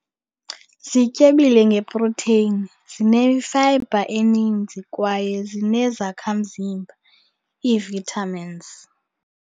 Zityebile ngeprotheyini, zinefayibha eninzi kwaye zinezakhamzimba, ii-vitamins.